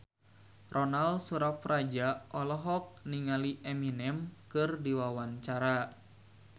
Ronal Surapradja olohok ningali Eminem keur diwawancara